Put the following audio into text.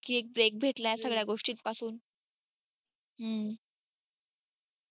की एक break भेटलाय सगळ्या गोस्टीपासून